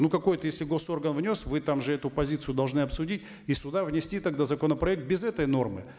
ну какой то если гос орган внес вы там же эту позицию должны обсудить и сюда внести тогда законопроект без этой нормы